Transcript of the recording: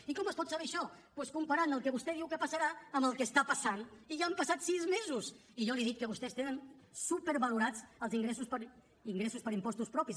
i com es pot saber això doncs comparant el que vostè diu que passarà amb el que està passant i ja han passat sis mesos i jo li dic que vostès tenen supervalorats els ingressos per impostos propis